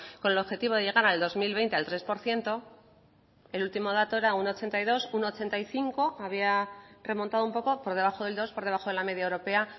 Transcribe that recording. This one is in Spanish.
con el objetivo de llegar al dos mil veinte al tres por ciento el último dato era un ochenta y dos un ochenta y cinco había remontado un poco por debajo del dos por debajo de la media europea